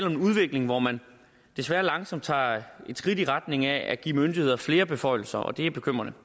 en udvikling hvor man desværre langsomt tager skridt i retning af at give myndigheder flere beføjelser og det er bekymrende